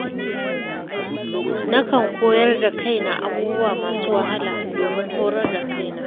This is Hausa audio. Na kan koyar da kaina abubuwa masu wahala, domin horar da kaina.